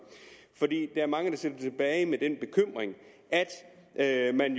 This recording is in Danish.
er mange der sidder tilbage med den bekymring at man